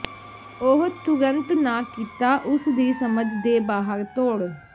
ਉਹ ਤੁਰੰਤ ਨਾ ਕੀਤਾ ਉਸ ਦੀ ਸਮਝ ਦੇ ਬਾਹਰ ਤੋੜ